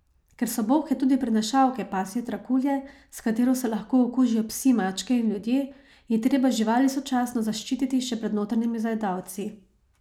Ker so bolhe tudi prenašalke pasje trakulje, s katero se lahko okužijo psi, mačke in ljudje, je treba živali sočasno zaščititi še pred notranjimi zajedavci.